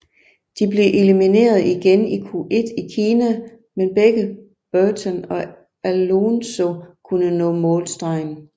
De blev elimineret igen i Q1 i Kina men begge Button og Alonso kunne nå målstregen